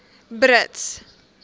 brits